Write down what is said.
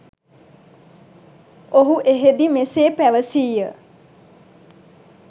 ඔහු එහදී මෙසේ පැවසිය.